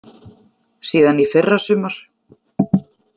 Síðan í fyrra sumar.